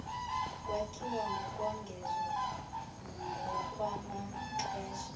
kwakhiwa ngokuwongeza ngokwamaxesha